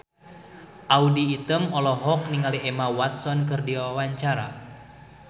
Audy Item olohok ningali Emma Watson keur diwawancara